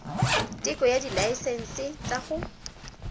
teko ya dilaesense tsa go